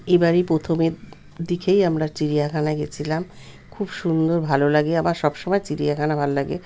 এবারই প্রথমের দিকেই আমরা চিড়িয়াখানায় গেছিলাম খুব সুন্দর ভালো লাগে আমার সব সময় চিড়িয়াখানা ভাল লাগে।